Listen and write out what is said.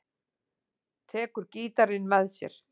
Tekur gítarinn með sér.